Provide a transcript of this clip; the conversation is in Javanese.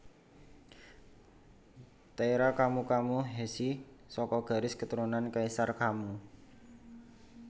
Taira Kammu Kammu Heishi saka garis keturunan Kaisar Kammu